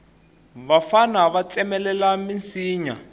vafana va tsemelela minsinya